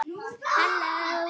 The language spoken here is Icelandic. hinum eftir það.